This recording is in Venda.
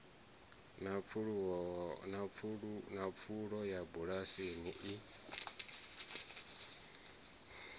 na pfulo ya mabulasi i